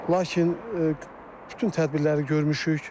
Lakin bütün tədbirləri görmüşük.